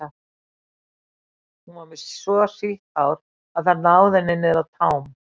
Hún var með svo sítt hár að það náði henni niður að tám.